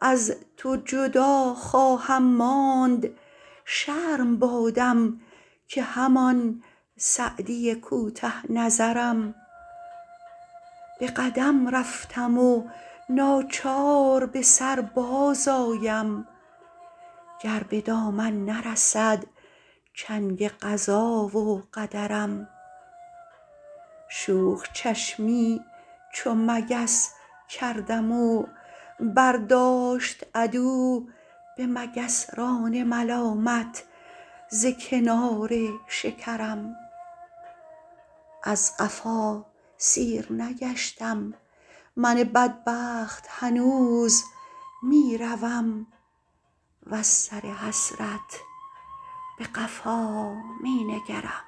از تو جدا خواهم ماند شرم بادم که همان سعدی کوته نظرم به قدم رفتم و ناچار به سر بازآیم گر به دامن نرسد چنگ قضا و قدرم شوخ چشمی چو مگس کردم و برداشت عدو به مگسران ملامت ز کنار شکرم از قفا سیر نگشتم من بدبخت هنوز می روم وز سر حسرت به قفا می نگرم